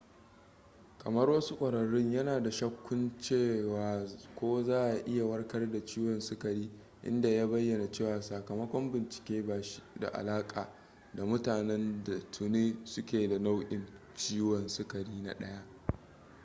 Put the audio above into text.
kamar wasu ƙwararrun yana da shakkun cewa ko za a iya warkar da ciwon sukari inda ya bayyana cewa sakamakon bincike ba shi da alaƙa da mutanen da tuni su ke da nau'in ciwon sukari na 1